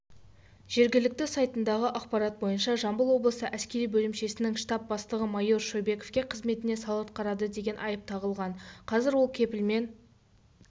жергілікті сайтындағы ақпарат бойынша жамбыл облысы әскери бөлімшесінің штаб бастығы майор шойбековке қызметіне салғырт қарады деген айып тағылған қазір ол кепілмен